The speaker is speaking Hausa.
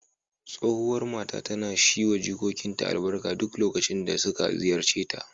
Tsohuwar matar tana shi wa jikokinta albarka duk lokacin da suka ziyarce ta.